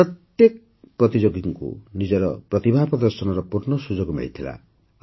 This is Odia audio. ଏଥିରେ ପ୍ରତ୍ୟେକ ପ୍ରତିଯୋଗୀକୁ ନିଜର ପ୍ରତିଭା ପ୍ରଦର୍ଶନର ପୂର୍ଣ୍ଣ ସୁଯୋଗ ମିଳିଲା